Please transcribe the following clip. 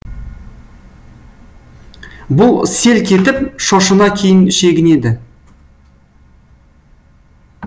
бұл селк етіп шошына кейін шегінеді